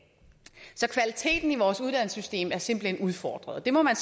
så kvaliteten i vores uddannelsessystem er simpelt hen udfordret og det må man